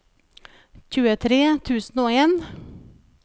tjuetre tusen og en